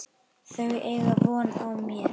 Þau eiga von á mér.